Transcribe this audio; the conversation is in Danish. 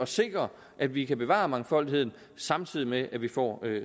sikre at vi kan bevare mangfoldigheden samtidig med at vi får